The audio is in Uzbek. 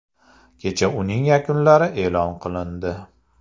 Kecha uning yakunlari e’lon qilindi.